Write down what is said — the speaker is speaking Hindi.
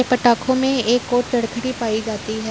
पटाखों में एक और भी पाई जाती है।